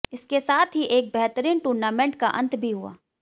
इसके साथ ही एक बेहतरीन टूर्नामेंट का अंत भी हुआ